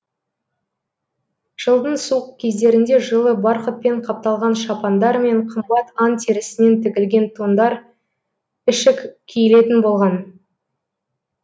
жылдың суық кездерінде жылы барқытпен қапталған шапандар мен қымбат аң терісінен тігілген тондар ішік киілетін болған